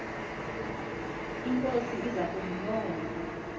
inkosi ukuza kumbona